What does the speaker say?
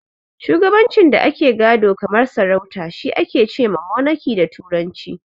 Shugabancin da ake gado kamar sarauta shi ake ce ma "Monaki" da turanci.